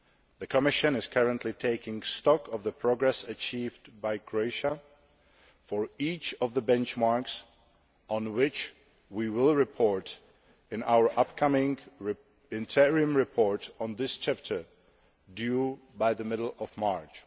The Commission is currently taking stock of the progress achieved by Croatia for each of the benchmarks, on which we will report in our upcoming interim report on this chapter due by the middle of March.